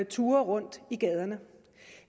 turer rundt i gaderne